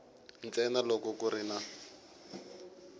ntsena loko ku ri na